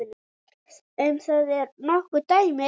Um það eru nokkur dæmi.